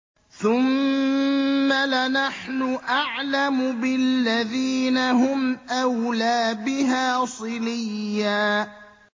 ثُمَّ لَنَحْنُ أَعْلَمُ بِالَّذِينَ هُمْ أَوْلَىٰ بِهَا صِلِيًّا